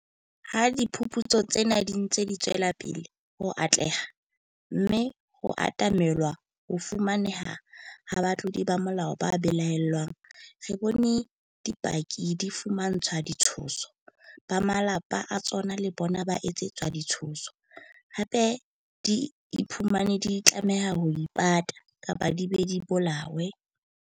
Ha diphuputso tsena di ntse di tswela pele ho atleha, mme ho atamelwa ho fumaneheng ha batlodi ba molao ba belaellwang, re bone dipaki di fumantshwa ditshoso, ba malapa a tsona le bona ba etsetswa ditshoso, hape di iphumane di tlameha ho ipata, kapa di be di bolawe.